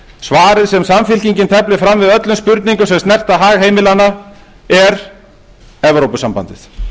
svarið sem samfylkingin teflir fram við öllum spurningum sem snerta hag heimilanna er evrópusambandið